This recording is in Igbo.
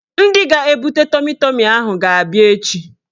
Ndị ga-ebute tọmi tọmi ahụ ga-abịa echi